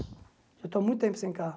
Eu estou há muito tempo sem carro.